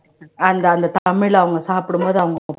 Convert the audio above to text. அந்த அந்த தமிழை அவங்க சாப்பிடும்போது